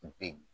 Bi